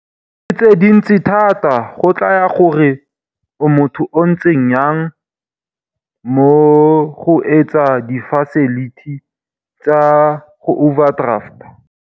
Tse dintsi thata go tlaya gore o motho o ntseng yang mo go etseng di facility tsa go overdrafta.